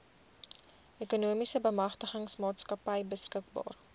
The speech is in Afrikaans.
ekonomiese bemagtigingsmaatskappy beskikbaar